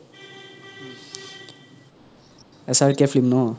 S R K film no